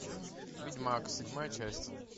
ведьмак седьмая часть